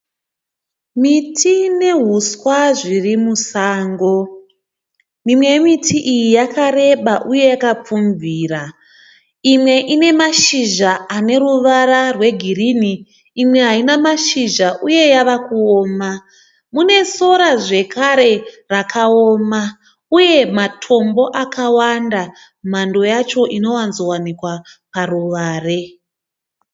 Miti nehuswa zviri musango. Mimwe yemiti iyi yakareba uye yakapfubvira. Imwe ine mashizha ane ruvara rwegirini. Imwe haina mazhizha uye yava kuoma. Mune sora zvekare rakaoma. Uye matombo akawanda. Mhando yacho inowanzowanikwa paruware.